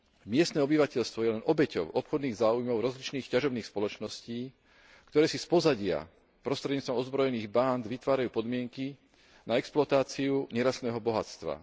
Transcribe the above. Miestne obyvateľstvo je len obeťou obchodných záujmov rozličných ťažobných spoločností, ktoré si z pozadia prostredníctvom ozbrojených bánd vytvárajú podmienky na exploatáciu nerastného bohatstva.